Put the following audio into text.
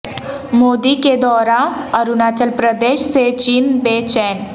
مودی کے دورہ اروناچل پردیش سے چین بے چین